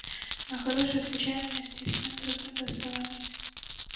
но хорошие случайности всем другим доставались